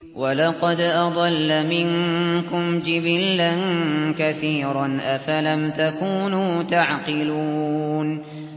وَلَقَدْ أَضَلَّ مِنكُمْ جِبِلًّا كَثِيرًا ۖ أَفَلَمْ تَكُونُوا تَعْقِلُونَ